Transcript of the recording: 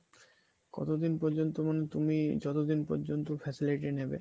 কতদিন পর্যন্ত মানে তুমি যতদিন পর্যন্ত facility নিবে